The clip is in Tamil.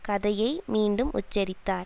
கதையை மீண்டும் உச்சரித்தார்